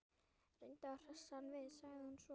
Reyndu að hressa hann við- sagði hún svo.